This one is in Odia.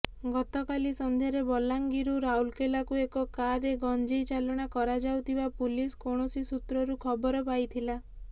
ଗତକାଲି ସନ୍ଧ୍ୟାରେ ବଲାଙ୍ଗିରରୁ ରାଉରକେଲାକୁ ଏକ କାର୍ରେ ଗଞ୍ଜେଇ ଚାଲାଣ କରାଯାଉଥିବା ପୁଲିସ୍ କୌଣସି ସୂତ୍ରରୁ ଖବର ପାଇଥିଲା